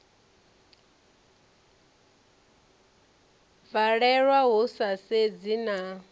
valelwa hu sa sedzi na